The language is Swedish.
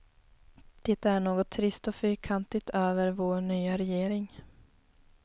Det är något trist och fyrkantigt över vår nya regering.